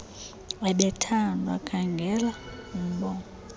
ebethandwa khangela urnbongo